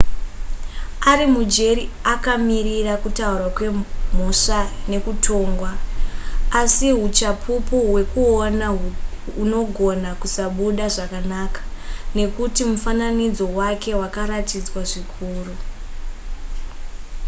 ari mujeri akamirira kutaurwa kwemhosva nekutongwa asi huchapupu hwekuona hunogona kusabuda zvakanaka nekuti mufananidzo wake wakaratidzwa zvikuru